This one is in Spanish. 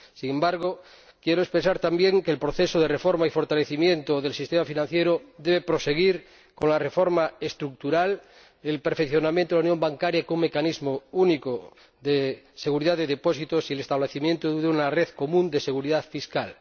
Sin embargo, quiero expresar también que el proceso de reforma y fortalecimiento del sistema financiero debe proseguir con la reforma estructural, el perfeccionamiento de la unión bancaria como un mecanismo único de seguridad de depósitos y el establecimiento de una red común de seguridad fiscal.